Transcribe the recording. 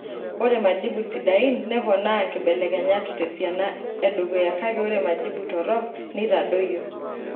Ore majibu sidain neponaa nkibelekenyat tesiana edukuya kake ore majibu torok neitadoyio.